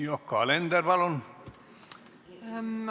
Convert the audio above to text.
Yoko Alender, palun!